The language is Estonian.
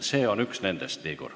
See on üks nendest, Igor.